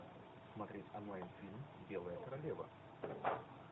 смотреть онлайн фильм белая королева